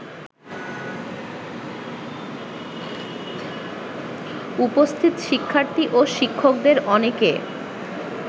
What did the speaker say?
উপস্থিত শিক্ষার্থী ও শিক্ষকদের অনেকে